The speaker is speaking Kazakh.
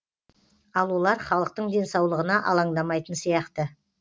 ал олар халықтың денсаулығына алаңдамайтын сияқты